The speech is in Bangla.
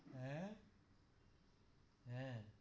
হ্যা হ্যা.